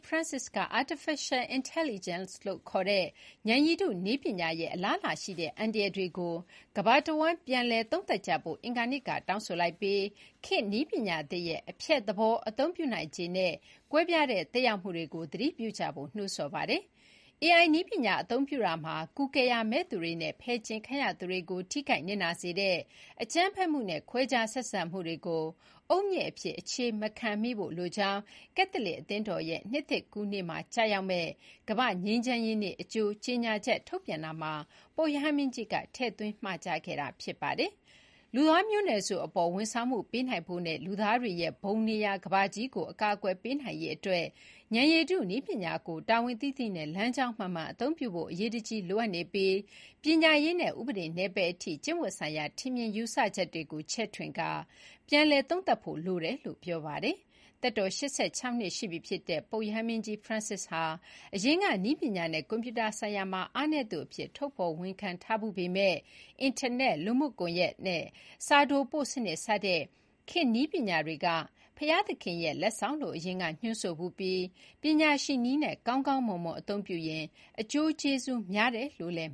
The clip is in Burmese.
ဖရန်စစ်က Artificial Intelligence လို့ ခေါ်တဲ့ ဉာဏ်ရည်တု နည်းပညာရဲ့ အလားအလာရှိတဲ့အန္တရာယ်တွေကို ကမ္ဘာတဝန်း ပြန်လည်သုံးသပ်ကြဖို့ အင်္ဂါနေ့ကတောင်းဆိုလိုက်ပြီး ခေတ်နည်းပညာသစ်ရဲ့ "အဖျက်သဘော အသုံးပြုနိုင်ခြေနဲ့ ကွဲပြားတဲ့ သက်ရောက်မှုတွေ" ကိုသတိပြုကြဖို့ နှိုးဆော်ပါတယ်။ "AI နည်းပညာအသုံးပြုရာမှာ ကူကယ်ရာမဲ့သူတွေနဲ့ ဖယ်ကြဥ်ခံရသူတွေကို ထိခိုက်နစ်နာစေတဲ့ အကြမ်းဖက်မှုနဲ့ခွဲခြားဆက်ဆံမှုတွေကို အုတ်မြစ်အဖြစ် အခြေမခံမိဖို့ လိုကြောင်း” ကက်သလစ်အသင်းတော်ရဲ့ နှစ်သစ်ကူးနေ့မှာ ကျရောက်မယ့်ကမ္ဘာ့ငြိမ်းချမ်းရေးနေ့ အကြိုကြေညာချက်ထုတ်ပြန်ရာမှာ ပုပ်ရဟန်းမင်းကြီးက ထည့်သွင်း မှာကြားခဲ့တာပါ။ "လူသားမျိုးနွယ်စုအပေါ် ဝန်ဆောင်မှုပေးနိုင်ဖို့နဲ့ လူသားတွေရဲ့ဘုံနေရာ ကမ္ဘာကြီးကို အကာအကွယ်ပေးနိုင်ရေးအတွက် ဉာဏ်ရည်တုနည်းပညာကို တာဝန်သိသိနဲ့ လမ်းကြောင်းမှန်မှန်အသုံးပြုဖို့ အရေးတကြီးလိုအပ်နေပြီး ပညာရေးနဲ့ ဥပဒေနယ်ပယ်အထိကျင့်ဝတ်ဆိုင်ရာ ထင်မြင်ယူဆချက်တွေကို ချဲ့ထွင်ကာ ပြန်လည်သုံးသပ်ဖို့ လိုတယ်။” လို့ ပြောပါတယ်။ သက်တော် ၈၆ နှစ် ရှိပြီဖြစ်တဲ့ ပုပ်ဖရန်စစ်ဟာ အရင်က နည်းပညာနဲ့ကွန်ပျူတာဆိုင်ရာမှာ အားနည်းသူအဖြစ် ထုတ်ဖော်ဝန်ခံထားဖူးပေမယ့် အင်တာနက်၊ လူမှုကွန်ရက်နဲ့ စာတိုပို့စနစ် စတဲ့ ခေတ်နည်းပညာတွေက "ဘုရားသခင်ရဲ့ လက်ဆောင်" လို့ အရင်ကညွှန်းဆိုဖူးပြီး “ပညာရှိနည်းနဲ့ ကောင်းကောင်းမွန်မွန် အသုံးပြုရင်” အကျိုးကျေးဇူးများတယ်လို့လည်း